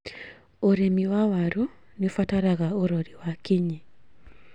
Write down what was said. ũrĩmi wa waru nĩũbataraga ũrori wa kinyi